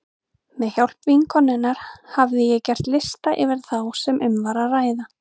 Með hjálp vinkonunnar hafði ég gert lista yfir þá sem um var að ræða.